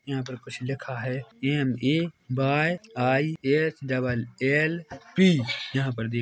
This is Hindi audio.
यहाँ पर कुछ लिखा है M A Y I H double L P यहाँ पर देख --